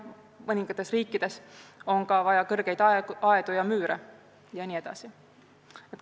Mõningates riikides on ka vaja kõrgeid müüre jne.